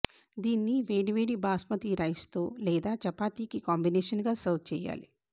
దీన్ని వేడి వేడి బాస్మతి రైస్ తో లేదా చపాతీకి కాంబినేషన్ గా సర్వ్ చేయాలి